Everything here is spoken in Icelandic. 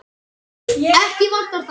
Ekki vantar það.